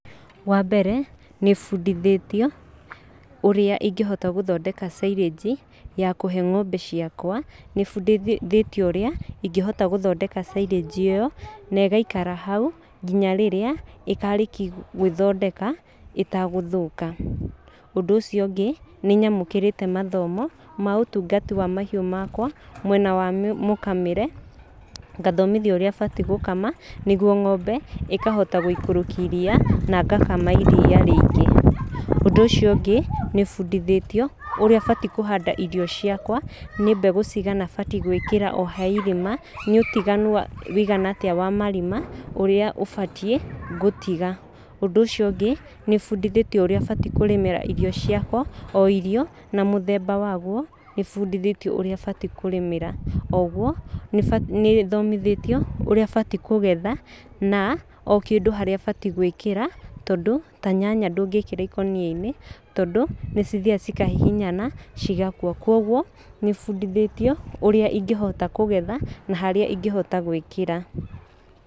Wa mbere nĩ bundithĩtio ũrĩa ingĩhota gũthondeka silage ya kũhe ng'ombe ciakwa. Nĩbundithĩtio ũrĩa ingĩhota gũthondeka silage ĩyo na ĩgaikara hau nginya rĩrĩa ĩkarĩkia gwĩthondeka ĩtagũthũka. Ũndũ ũcio ũngĩ nĩ nyamũkĩrĩte mathomo ma ũtungati wa mahiũ makwa mwena wa mũkamĩre, ngathomithio ũrĩa batiĩ gũkama, nĩguo ng'ombe ĩkahota gũikũrũkia iria na ngakama iria rĩingĩ. Ũndũ ũcio ũngĩ nĩbundithĩtio ũrĩa batiĩ kũhanda irio ciakwa, nĩ mbegũ cigana batiĩ gwĩkĩra o he irima, nĩ ũtiganu ũigana atĩa wa marima ũrĩa ũbatiĩ gũtiga. Ũndũ ũcio ũngĩ, nĩbundithĩtio ũrĩa batiĩ kũrĩmĩra irio ciakwa, o irio na mũthemba waguo, nĩbundithĩtio ũrĩa batiĩ kũrĩmĩra. Oguo nĩthomithĩtio ũrĩa batiĩ kũgetha, na o kĩndũ harĩa batiĩ gwĩkĩra, tondũ ta nyanya ndũngĩkĩra ikũnia-inĩ, tondũ nĩ cithiaga cikahihinyana cigakua. Kwoguo nĩ bundithĩtio ũrĩa ingĩhota kũgetha na harĩa ingĩhota gwĩkĩra.